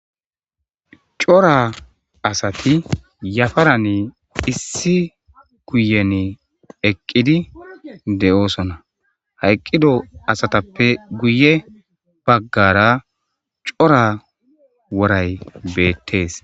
cora asati yafarane issi kuyen eqqidi de7oosona hayqqido asatappe guye baggara cora woray beettees